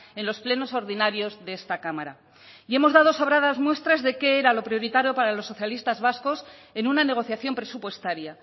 en los plenos ordinarios de esta cámara y hemos dado sobradas muestras de qué era lo prioritario para los socialistas vascos en una negociación presupuestaria